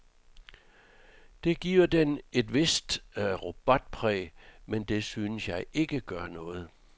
Det giver den et vist robotpræg, men det synes jeg ikke gør noget.